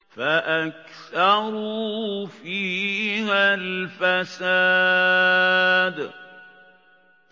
فَأَكْثَرُوا فِيهَا الْفَسَادَ